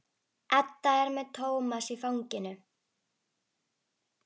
Edda er með Tómas í fanginu.